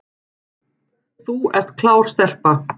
Þú ert klár stelpa